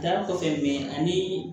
Da kɔfɛ bi ani